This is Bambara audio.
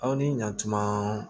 Aw ni ɲankuma